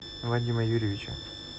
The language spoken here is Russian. вадима юрьевича